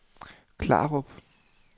Klarup